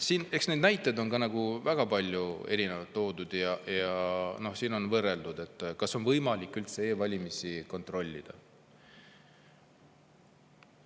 Eks neid näiteid on väga palju erinevaid toodud ja siin on küsitud, kas on võimalik üldse e-valimisi kontrollida.